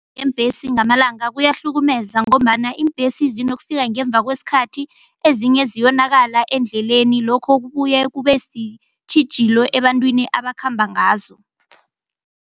Eembhesi ngamalanga kuyahlukumeza ngombana iimbhesi zinokufika ngemva kwesikhathi ezinye ziyonakala endleleni lokho kubuye kube sitjhijilo ebantwini abakhamba ngazo.